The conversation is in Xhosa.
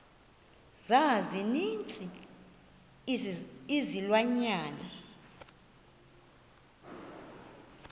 za ninzi izilwanyana